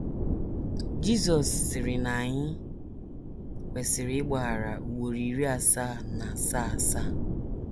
Jizọs sịrị na anyị kwesịrị ịgbaghara “ ugboro iri asaa na asaa asaa ”